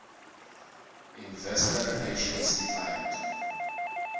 investor relations defined